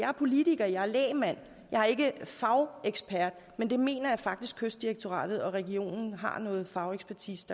er politiker jeg er lægmand jeg er ikke fagekspert men det mener jeg faktisk kystdirektoratet og regionen og har noget fagekspertise